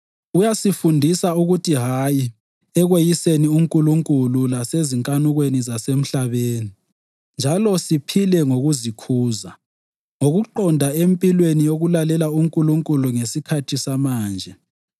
Uyasifundisa ukuthi “Hayi” ekweyiseni uNkulunkulu lasezinkanukweni zasemhlabeni njalo siphile ngokuzikhuza, ngokuqonda empilweni yokulalela uNkulunkulu ngesikhathi samanje,